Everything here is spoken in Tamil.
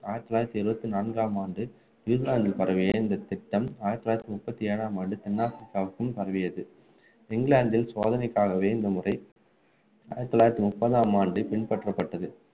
ஆயிரத்து தொள்ளாயிரத்து எழுபத்து நான்காம் ஆண்டு நியூசிலாந்துக்கு பரவிய திட்டம் ஆயிரத்து தொள்ளாயிரத்து முப்பத்து ஏழாம் ஆண்டு தென் ஆப்ரிக்காவுக்கும் பரவியது இங்கிலாந்தில் சோதனைக்காகவே இந்த முறை ஆயிரத்து தொள்ளாயிரத்து முப்பதாம் ஆண்டு பின்பற்றப்பட்டது